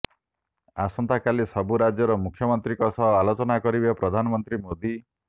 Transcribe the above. ଆସନ୍ତାକାଲି ସବୁ ରାଜ୍ୟର ମୁଖ୍ୟମନ୍ତ୍ରୀଙ୍କ ସହ ଆଲୋଚନା କରିବେ ପ୍ରଧାନମନ୍ତ୍ରୀ ମୋଦୀ